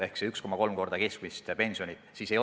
See on 1,3-kordne keskmise pensioni määr.